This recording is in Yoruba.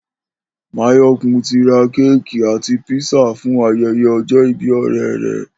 Máyò̩kún ti ra kéèkì àti písà fún aye̩ye̩ o̩jó̩ ìbí ò̩ré̩ rè̩